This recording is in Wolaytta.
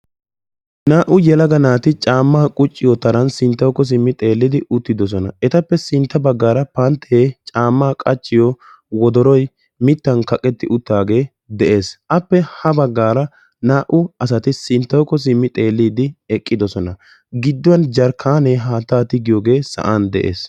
Naa'u yeelaga naati camma qucciyo taran sinttako xeeli uttidosona. Etape sintta baggara pantte camma qachchiyo wodoroy mittan kaqetti uttidage de'ees. Appe ha baggara naa'u asaati sinttawuko simmidi xeelidi eqqidosona. Gidduwan jarkkane haattaa tigiyogee sa'an de'ees.